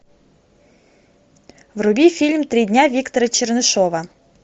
вруби фильм три дня виктора чернышова